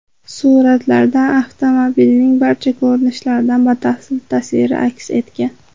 Suratlarda avtomobilning barcha ko‘rinishlardan batafsil tasviri aks etgan.